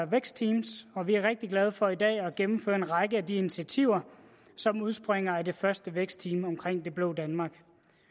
vækstteams og vi er rigtig glade for i dag at kunne gennemføre en række af de initiativer som udspringer af det første vækstteam omkring det blå danmark